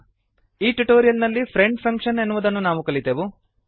ಈ ಟ್ಯುಟೋರಿಯಲ್ ನಲ್ಲಿ friend function ಎನ್ನುವುದನ್ನು ನಾವು ಕಲಿತೆವು